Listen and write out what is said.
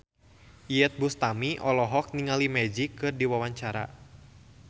Iyeth Bustami olohok ningali Magic keur diwawancara